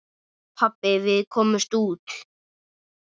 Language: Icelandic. Pabbi, við komumst út!